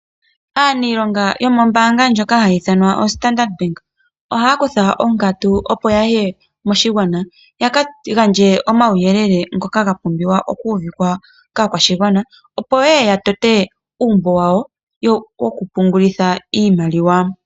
Aaniilonga yomoombanga ndjoka hayi ithanwa standard Bank , ohaya kutha onkatu opo yaye moshigwana, yaka gandje omauyelele ngoka gapumbiwa okuuvikwa kaakwashigwana, opo yeye yatote uumbo wawo wokupungula iimaliwa.